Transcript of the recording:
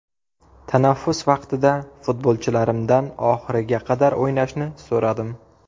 Tanaffus vaqtida futbolchilarimdan oxiriga qadar o‘ynashni so‘radim”.